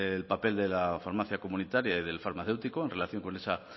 el papel de la farmacia comunitaria y del farmacéutico en relación con esa